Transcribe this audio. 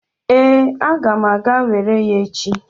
Ee, aga m aga were ya echi.